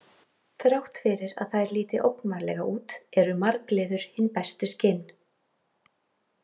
Þrátt fyrir að þær líti ógnvænlega út eru margliður hin bestu skinn.